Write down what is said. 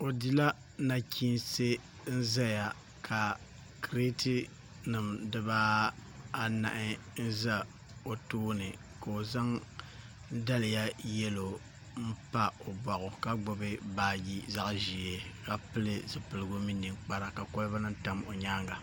O dila nachiinsi ʒɛya ka kirɛt nim dibaanahi ʒɛ o tooni ka o zaŋ daliya yɛlo n pa o boɣu ka gbubi baaji zaɣ ʒiɛ ka pili zipiligu mini ninkpara ka kolba nim tam o nyaanga